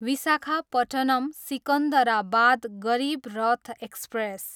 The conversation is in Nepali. विशाखापट्टनम, सिकन्दराबाद गरिब रथ एक्सप्रेस